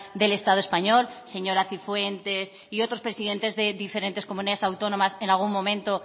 del estado español señora cifuentes y otros presidentes de diferentes comunidades autónomas en algún momento